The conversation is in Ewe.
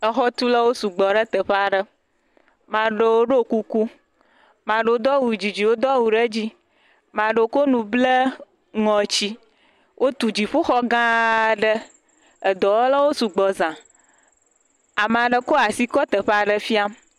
Exɔtulawo sugbɔ ɖe teƒe aɖe. amea ɖewo ɖo kuku, mea ɖewo do awu didi, wodo awu ɖe dzi, mea ɖewo kɔ nu ble ŋɔti. Wotu dziƒoxɔ gã aɖe, edɔwɔlwo sugbɔ za. Amea ɖe kɔ asi kɔ teƒe aɖe fiam.